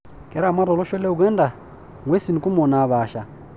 Keramat olosho le Uganda ng'wesi kumok naapaasha.